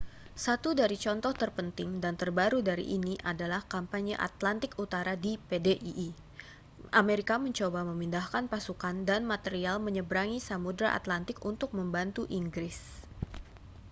satu dari contoh terpenting dan terbaru dari ini adalah kampanye atlantik utara di pdii amerika mencoba memindahkan pasukan dan material menyeberangi samudera atlantik untuk membantu inggris